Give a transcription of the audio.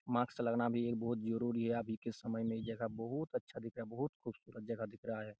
Mask भी लगना भी एक जरूरी है अभी के समय में यह जगह बहुत अच्छा दिख रहा है बहुत खूबसूरत जगह दिख रहा है।